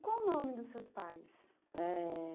E qual o nome dos seus pais? Eh